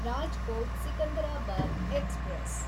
Rajkot Secunderabad express